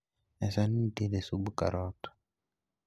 e sanni nitiere sub karot